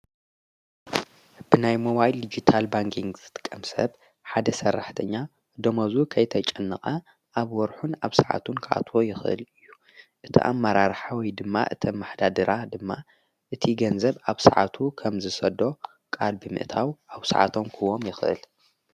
ብናይ ሞዋይል ዲጊታል ባንክን ዘትቀምሰብ ሓደ ሠራሕደኛ ደመዙ ከይተጨንቐ ኣብ ወርኁን ኣብ ሰዓቱን ካዕትዎ ይኽእል እዩ እቲ ኣመራርሓወይ ድማ እቲ ማኅዳድራ ድማ እቲ ገንዘብ ኣብ ሰዓቱ ኸም ዝሰዶ ቃል ብምእታው ኣብ ሰዓቶም ክዎም ይኽእል።